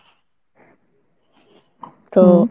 তো